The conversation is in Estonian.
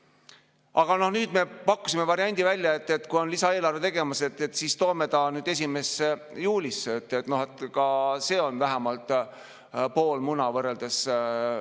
Aga nüüd me pakkusime välja variandi, et kui lisaeelarve on tegemisel, siis toome ta nüüd 1. juulisse, sest ka see on vähemalt pool muna võrreldes ...